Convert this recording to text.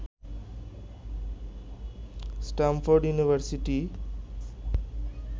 Stamford university